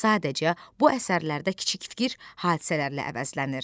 Sadəcə, bu əsərlərdə kiçik fikir hadisələrlə əvəzlənir.